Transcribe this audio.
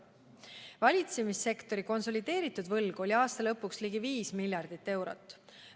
Valitsemissektori konsolideeritud võlg oli aasta lõpuks ligi 5 miljardit eurot.